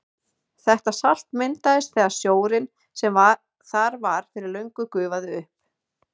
Þetta salt myndaðist þegar sjórinn sem þar var fyrir löngu gufaði upp.